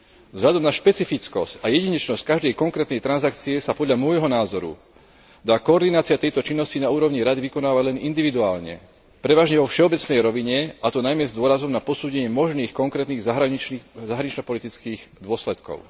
Vzhľadom na špecifickosť a jedinečnosť každej konkrétnej transakcie sa podľa môjho názoru dá koordinácia tejto činnosti na úrovni Rady vykonávať len individuálne, prevažne vo všeobecnej rovine, a to najmä s dôrazom na posúdenie možných konkrétnych zahranično politických dôsledkov.